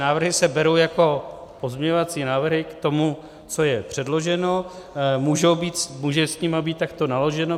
Návrhy se berou jako pozměňovací návrhy k tomu, co je předloženo, může s nimi být takto naloženo.